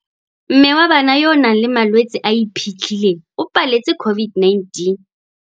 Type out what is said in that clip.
Mme wa bana yo a nang le malwetse a a iphitlhileng o paletse COVID-19.